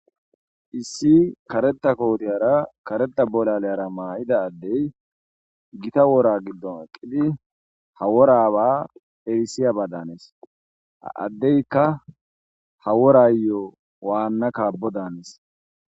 issi kareta kohotiyara kareta bolaleyara maa7ida addey gita wora giddon aqqidi ha woraba hebisiya ba daanes addeykka ha worayo waanna kabo daanes